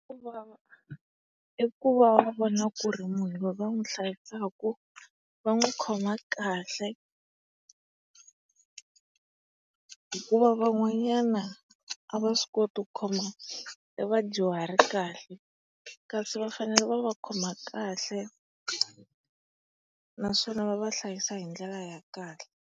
i ku va va vona ku ri munhu loyi va n'wi hlayisaka va n'wi khoma kahle. Hikuva van'wawanyana a va swi koti ku khoma e vadyuhari kahle. Kasi va fanele va va khoma kahle naswona va va hlayisa hi ndlela ya kahle.